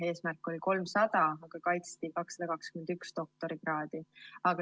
Eesmärk oli 300, aga kaitsti 221 doktorikraadi.